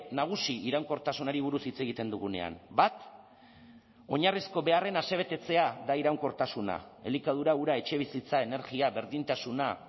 nagusi iraunkortasunari buruz hitz egiten dugunean bat oinarrizko beharren asebetetzea da iraunkortasuna elikadura ura etxebizitza energia berdintasuna